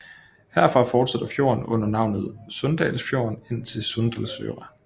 Herfra fortsætter fjorden under navnet Sunndalsfjorden ind til Sunndalsøra